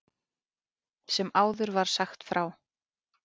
Sem áður var sagt frá.